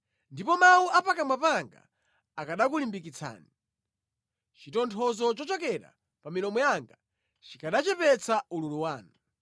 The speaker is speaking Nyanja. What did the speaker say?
Ndipo mawu a pakamwa panga akanakulimbikitsani; chitonthozo chochokera pa milomo yanga chikanachepetsa ululu wanu.